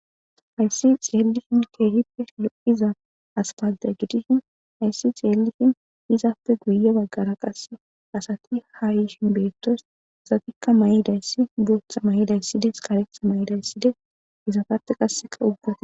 Hayssi xeelishin kehipe lo7iza aspaltte gidida izaappe guyye baggara qasekka asati ha yishe betosona. Hessatika mayidayssi booththa mayizay, karetha mayizay , izatappe qaseka ubbati